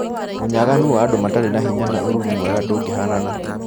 Ũnyaganu wa andũ matarĩ na hĩnya na ũruru mwega ndũngĩhanana